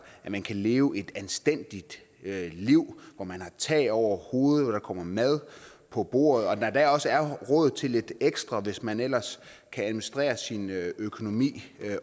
at man kan leve et anstændigt liv hvor man har tag over hovedet og kommer mad på bordet og hvor der endda også er råd til lidt ekstra hvis man ellers kan administrere sin økonomi